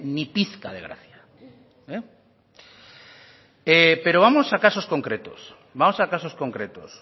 ni pizca de gracia pero vamos a casos concretos vamos a casos concretos